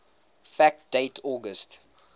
fact date august